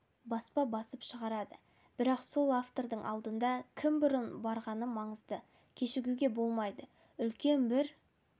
баспа басып шығарады бірақ сол автордың алдында кім бұрын барғаны маңызды кешігуге болмайды үлкен бір